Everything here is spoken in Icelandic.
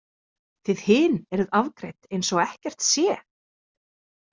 Þið hin eruð afgreidd eins og ekkert sé.